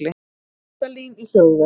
Hjaltalín í hljóðver